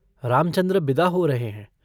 रामचन्द्र बिदा हो रहे हैं।